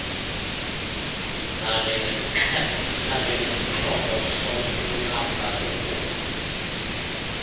nanjengesixhobo sokulamla sebhunga